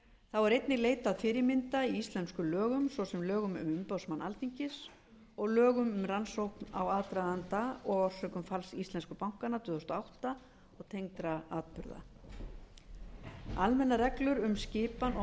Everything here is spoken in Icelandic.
þá er einnig leitað fyrirmynda í íslenskum lögum svo sem lögum um umboðsmann alþingis og lögum um rannsókn á aðdraganda og orsökum falls íslensku bankanna tvö þúsund og átta og tengdra atburða almennar reglur um skipan og